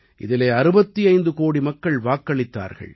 இதிலே 65 கோடி மக்கள் வாக்களித்தார்கள்